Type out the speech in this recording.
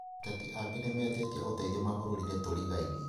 Ateti angĩ nĩmetĩtie ũteithio mabũrũrinĩ tũrigainie